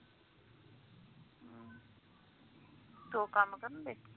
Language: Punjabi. ਦੋ ਕੰਮ ਕਰਨ ਦਏ